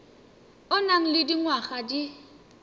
o nang le dingwaga di